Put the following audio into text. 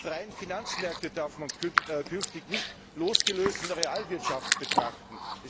Auch die freien Finanzmärkte darf man künftig nicht losgelöst von der Realwirtschaft betrachten.